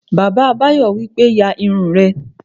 Bàbá Báyọ̀ wípé, "ya irun rẹ!"